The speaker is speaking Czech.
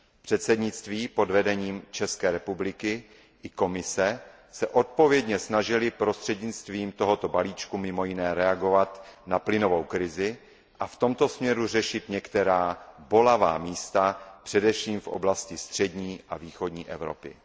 Předsednictví pod vedením České republiky i Komise se odpovědně snažily prostřednictvím tohoto balíčku mimo jiné reagovat na plynovou krizi a v tomto směru řešit některá bolavá místa především v oblasti střední a východní Evropy.